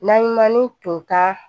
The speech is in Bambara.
Naɲuman ni tunkan